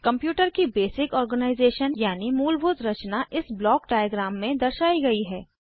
computer की basic organisation यानि मूलभूत रचना इस ब्लॉक डायग्राम में दर्शायी गयी है